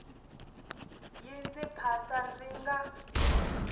yi ndzi phasa ndzi nga